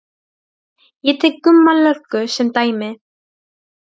Ég tek Gumma löggu sem dæmi.